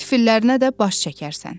Tüfüllərinə də baş çəkərsən.